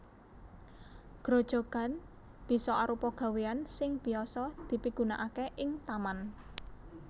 Grojogan bisa arupa gawéan sing biyasa dipigunaaké ing taman